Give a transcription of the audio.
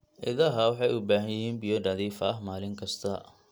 Idaha waxay u baahan yihiin biyo nadiif ah maalin kasta.